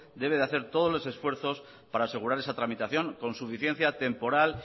debe hacer todos los esfuerzos para asegurar esa tramitación con suficiencia temporal